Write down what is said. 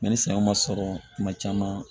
ni san ma sɔrɔ kuma caman